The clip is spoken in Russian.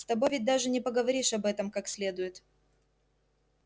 с тобой ведь даже не поговоришь об этом как следует